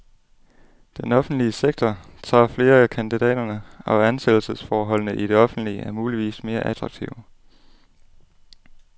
Den offentlige sektor tager flere af kandidaterne, og ansættelsesforholdene i det offentlige er muligvis mere attraktive.